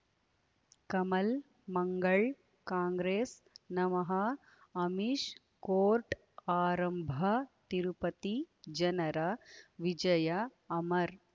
ಕಮಲ್ ಮಂಗಳ್ ಕಾಂಗ್ರೆಸ್ ನಮಃ ಅಮಿಷ್ ಕೋರ್ಟ್ ಆರಂಭ ತಿರುಪತಿ ಜನರ ವಿಜಯ ಅಮರ್